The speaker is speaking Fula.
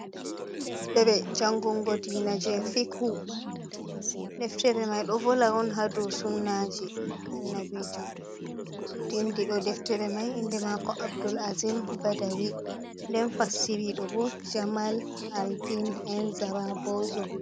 Deftire jangungo diina je fikhu, deftere mai ɗo vola on hadu sunnaji annabijo, vindiɗo deftere mai inde mako Abdul azim Badawi, nden fasciriɗo bo, Jamal-aldin e In Zara bozo.